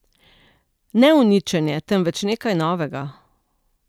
Ne uničenje, temveč nekaj novega.